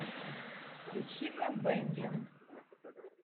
включи ка бэмби